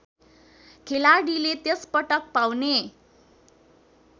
खेलाडीले त्यसपटक पाउने